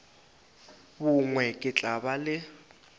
bongwe ke tla ba le